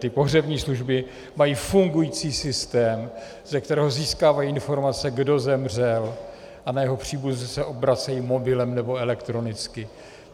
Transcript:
Ty pohřební služby mají fungující systém, ze kterého získávají informace, kdo zemřel, a na jeho příbuzné se obracejí mobilem nebo elektronicky.